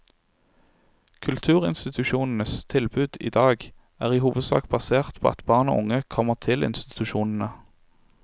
Kulturinstitusjonenes tilbud er i dag i hovedsak basert på at barn og unge kommer til institusjonene.